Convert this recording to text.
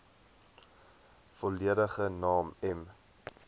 volledige naam m